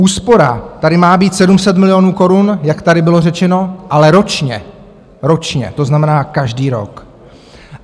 Úspora tady má být 700 milionů korun, jak tady bylo řečeno, ale ročně - ročně - to znamená každý rok.